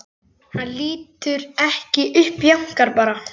Hann lítur ekki upp, jánkar bara.